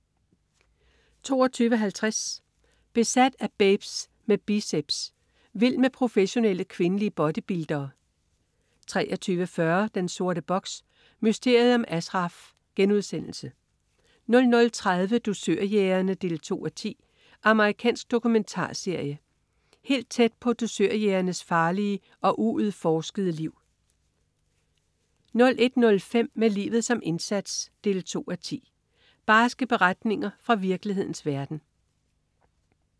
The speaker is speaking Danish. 22.50 Besat af babes med biceps. Vild med professionelle kvindelige bodybuildere 23.40 Den sorte box: Mysteriet om Ashraf* 00.30 Dusørjægerne 2:10. Amerikansk dokumentarserie. Helt tæt på dusørjægernes farlige og uudforskede liv 01.05 Med livet som indsats 2:10. Barske beretninger fra virkelighedens verden